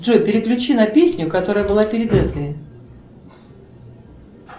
джой переключи на песню которая была перед этой